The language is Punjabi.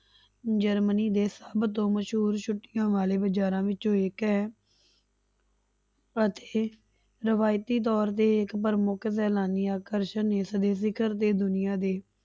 ਜਰਮਨੀ ਦੇ ਸਭ ਤੋਂ ਮਸ਼ਹੂਰ ਛੁੱਟੀਆਂ ਵਾਲੇ ਬਾਜ਼ਾਰਾਂ ਵਿੱਚੋਂ ਇੱਕ ਹੈ ਅਤੇ ਰਵਾਇਤੀ ਤੌਰ ਤੇ ਇੱਕ ਪ੍ਰਮੁੱਖ ਸੈਲਾਨੀ ਆਕਰਸ਼ਨ ਇਸਦੀ ਸਿਖਰ ਤੇ ਦੁਨੀਆਂ ਦੀ,